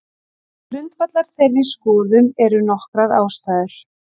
Til grundvallar þeirri skoðun eru nokkrar ástæður.